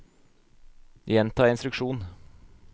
gjenta instruksjon